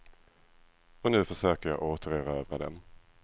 Och nu försöker jag återerövra den.